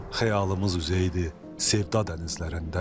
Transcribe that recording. Xəyalımız üzəydi sevda dənizlərində.